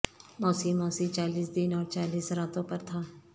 موسی موسی چالیس دن اور چالیس راتوں پر تھا